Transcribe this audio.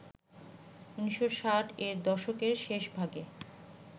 ১৯৬০-এর দশকের শেষভাগে